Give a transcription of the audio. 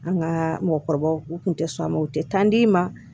An ka mɔgɔkɔrɔbaw u tun tɛ sɔn a ma u tɛ taa d'i ma